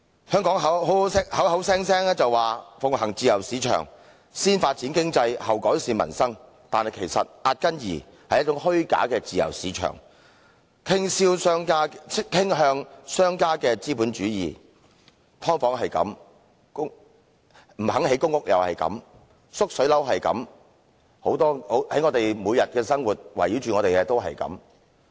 香港口口聲聲說奉行自由市場，先發展經濟，後改善民生，但其實壓根兒是一種虛假的自由市場、傾向商家的資本主義，"劏房"是如此，不願意興建公屋也是如此，"縮水樓"又是如此，圍繞我們每天生活的也是如此。